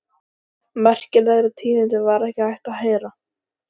Merkilegri tíðindi var ekki hægt að heyra.